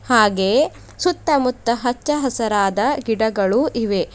ಹಾಗೆಯೇ ಸುತ್ತ ಮುತ್ತ ಹಚ್ಚ ಹಸರಾದ ಗಿಡಗಳು ಇವೆ.